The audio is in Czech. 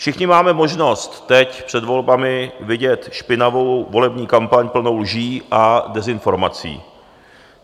Všichni máme možnost teď před volbami vidět špinavou volební kampaň plnou lží a dezinformací.